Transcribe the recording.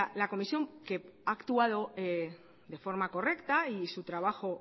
la comisión que ha actuado de forma correcta y su trabajo